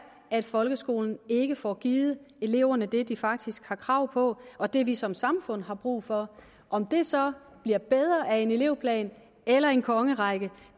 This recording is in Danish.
at folkeskolen ikke får givet eleverne det de faktisk har krav på og det vi som samfund har brug for om det så bliver bedre af en elevplan eller en kongerække